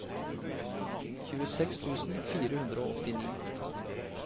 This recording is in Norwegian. tjueseks tusen fire hundre og åttini